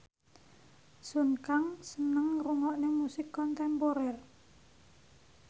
Sun Kang seneng ngrungokne musik kontemporer